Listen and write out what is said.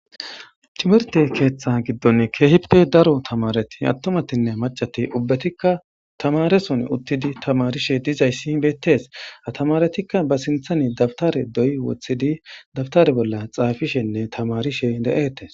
Timerte keeththa giddon keehipe daro tamareti attomatinne macati ubbetikka tamareson uttidi tamarishe dizayssi beettees atamaretikka ba sinthani dabtare doy wothidi dabtare bolla xaafishenne tamarishe de7etes.